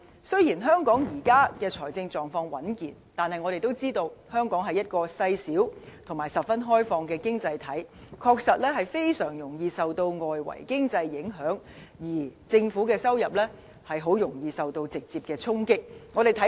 雖然香港現時的財政狀況穩健，但我們都知道，香港是一個細小而十分開放的經濟體，的確非常容易受外圍經濟影響，而政府收入很容易受到直接衝擊。